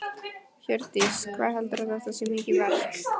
Hjördís: Hvað heldurðu að þetta sé mikið verk?